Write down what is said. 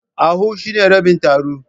A half is the half of three kobos.